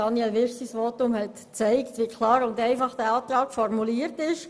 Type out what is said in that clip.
Das Votum von Grossrat Wyrsch hat gezeigt, wie klar und einfach der Antrag formuliert ist.